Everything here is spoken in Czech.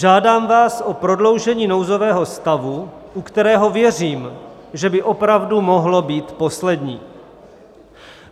Žádám vás o prodloužení nouzového stavu, u kterého věřím, že by opravdu mohl být poslední.